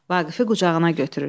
Vaqifi qucağına götürür.